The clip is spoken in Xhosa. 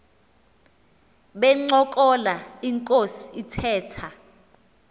bencokola inkos ithetha